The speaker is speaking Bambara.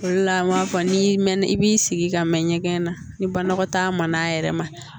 O de la an b'a fɔ n'i mɛnna i b'i sigi ka mɛn ɲɛgɛn na ni banakɔtaa ma n'a yɛrɛ ma